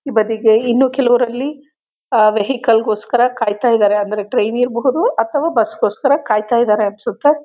ಈ ಬಧಿಗೆ ಇನ್ನು ಕೆಲವ್ರು ಅಲ್ಲಿ ವೆಹಿಕಲ್ ಗೋಸ್ಕರ ಕಾಯ್ತಾಇದರೆ ಅಂದ್ರೆ ಟ್ರೈನ್ ಇರ್ಬಹುದು ಅತ್ವ ಬಸ್ ಗೋಸ್ಕರ ಕಾಯ್ತಾ ಇದಾರೆ ಅನ್ಸುತ್ತೆ